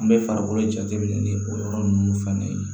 An bɛ farikolo jateminɛ ni o yɔrɔ ninnu fɛnɛ ye